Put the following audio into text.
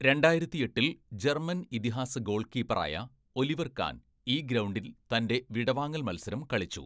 രണ്ടായിരത്തിയെട്ടിൽ German ഇതിഹാസ ഗോൾകീപ്പറായ Oliver Kahn, ഈ ഗ്രൗണ്ടിൽ തൻ്റെ വിടവാങ്ങൽ മത്സരം കളിച്ചു.